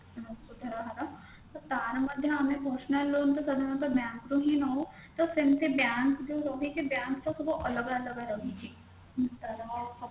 ସୁଧ ର ହାର ତ ତାର ମଧ୍ୟ ଆମେ personal loan ତ ସାଧାରଣତଃ bank ରୁ ହି ନଉ ତ ସେମତି bank ଯାଉ ରହିଛି bank ର ସବୁ ଅଲଗା ଅଲଗା ରହିଛି ତାର